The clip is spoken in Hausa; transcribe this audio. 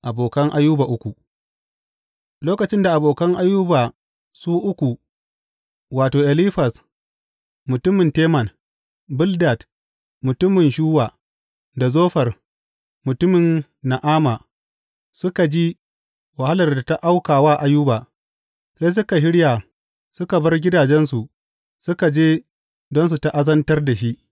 Abokan Ayuba uku Lokacin da abokan Ayuba su uku wato, Elifaz mutumin Teman, Bildad mutumin Shuwa, da Zofar mutumin Na’ama suka ji wahalar da ta auka wa Ayuba, sai suka shirya suka bar gidajensu suka je don su ta’azantar da shi.